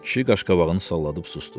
Kişi qaşqabağını salladıb sustu.